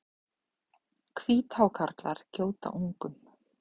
Hvíthákarlar gjóta ungum.